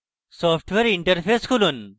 software interface খুলুন